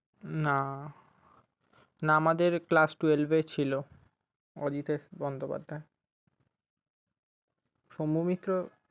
না। না আমাদের class twelve এ ছিল অজিতেশ বন্দোপধ্যায়। সৌম্যমিত্র